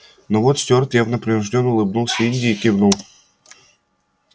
но вот стюарт явно принуждённо улыбнулся индии и кивнул